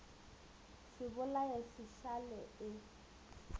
se bolae se šale e